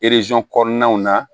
kɔnɔnaw na